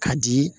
Ka di